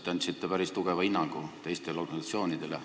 Te andsite päris tugeva hinnangu teistele organisatsioonidele.